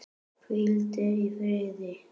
Hvíldu í friði.